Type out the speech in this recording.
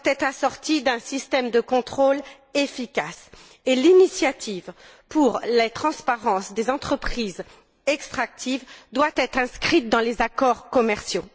Elle doit être assortie d'un système de contrôle efficace et l'initiative pour la transparence dans les entreprises extractives doit être inscrite dans les accords commerciaux.